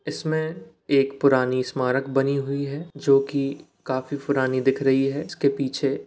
इसमे एक पुरानी स्मार्क बनी हुई है जो की काफी पुरानी दिक रही है इसके पीछे --